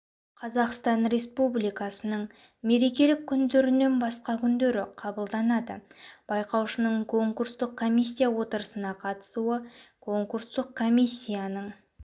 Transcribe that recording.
қазақстан республикасының мерекелік күндерінен басқа күндері қабылданады байқаушының конкурстық комиссия отырысына қатысуы конкурстық комиссияның